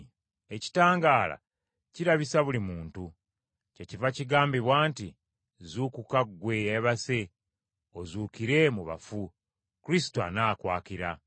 Ekitangaala kirabisa buli kintu. Kyekiva kigambibwa nti, “Zuukuka ggwe eyeebase, Ozuukire mu bafu, Kristo anaakwakira.”